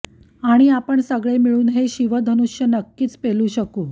आणि आपण सगळे मिळून हे शिवधनुष्य नक्कीच पेलू शकू